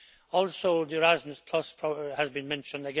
Also, the Erasmus programme has been mentioned.